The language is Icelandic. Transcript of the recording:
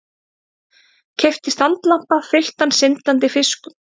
Keypti standlampa fylltan syndandi fiskum.